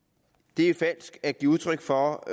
det er falsk at give udtryk for